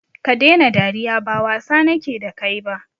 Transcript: Stop laughing, I don't intend to joke with you